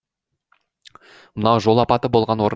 мынау жол апаты болған орын